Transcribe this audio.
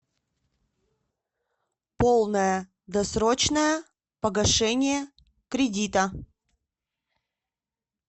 полное досрочное погашение кредита